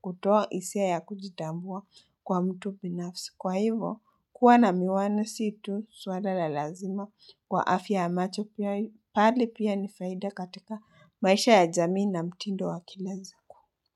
kutoa hisia ya kujitambua kwa mtu binafsi. Kwa hivyo, kuwa na miwani situ swala la lazima kwa afya yamacho pia bali pia nifaida katika maisha ya jamii na mtindo wakilasiku.